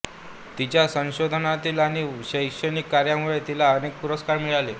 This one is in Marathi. तिच्या संशोधनातील आणि शैक्षणिक कार्यामुळे तिला अनेक पुरस्कार मिळाले